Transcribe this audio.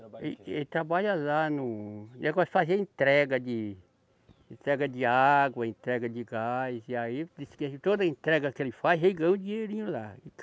Trabalha em quê? Ele, ele trabalha lá no, negócio de fazer entrega de, entrega de água, entrega de gás, e aí, disse que toda entrega que ele faz, ele ganha um dinheirinho lá.